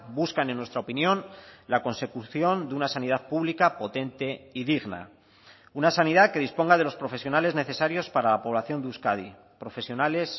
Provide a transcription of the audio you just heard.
buscan en nuestra opinión la consecución de una sanidad pública potente y digna una sanidad que disponga de los profesionales necesarios para la población de euskadi profesionales